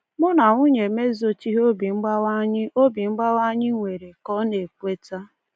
“Mụ na nwunye m ezochighị obi mgbawa anyị obi mgbawa anyị nwere,” ka ọ na-ekweta.